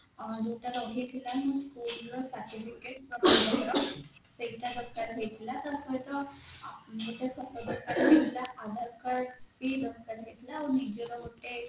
ଆଁ ଯୋଊଟା ରହିଥିଲା ମୋର school ର certificate ସେଇଟା ଦରକାର ହେଇଥିଲା ତାପରେ ଟା ଗୋଟେ photo ଦରକାର ହେଇଥିଲା aadhar card ଇ ଦରକାର ହେଇଥିଲା ଆଉ ନିଜର ଗୋଟେ